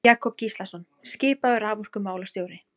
Jakob Gíslason skipaður raforkumálastjóri.